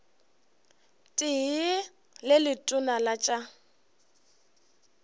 tee le letona la tša